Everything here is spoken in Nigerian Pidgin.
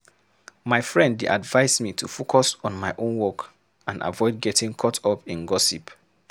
My friend dey advise me to focus on my own work and avoid getting caught up in gossip.